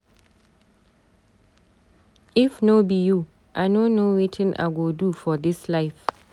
If no be you, I no know wetin I go do for dis life.